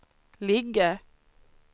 ligga